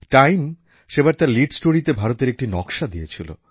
time সেবার তার lead স্টোরিতে ভারতের একটি নকশা দিয়েছিল